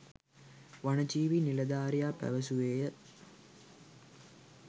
වන ජීවී නිලධාරියා පැවසුවේය.